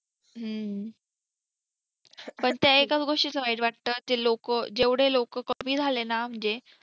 ह पण त्या एकाच गोस्टी च वाईट वाटतं ते जेवढे लोकं कमी झाले न म्हणजे